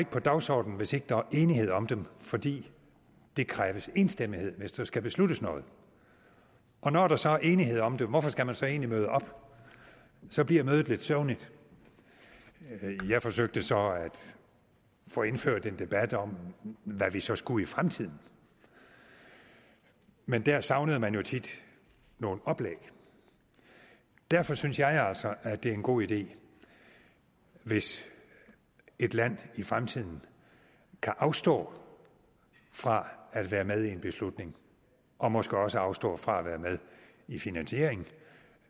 på dagsordenen hvis ikke der er enighed om dem fordi der kræves enstemmighed hvis der skal besluttes noget og når der så er enighed om det hvorfor skal man så egentlig møde op så bliver mødet lidt søvnigt jeg forsøgte så at få indført en debat om hvad vi så skulle i fremtiden men der savnede man jo tit nogle oplæg derfor synes jeg altså det er en god idé hvis et land i fremtiden kan afstå fra at være med i en beslutning og måske også afstå fra at være med i finansieringen